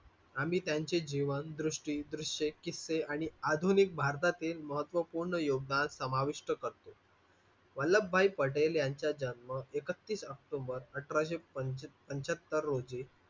आम्ही त्यांची जीवन दृष्टी, दृश्ये किस्से आणि आधुनिक भारतातील म्हत्वपूर्ण योगदान समाविष्ट करतो. वल्लभभाई पटेल यांचा जन्म एकतीस ऑक्टोबर अठराशे पंच पंच्याहत्तर रोजी.